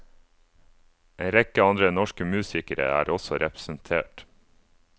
En rekke andre norske musikere er også representert.